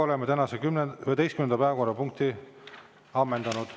Oleme tänase 11. päevakorrapunkti ammendanud.